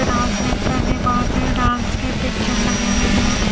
Announcement करने बहोत से डांस के पिक्चर लगे हुए हैं।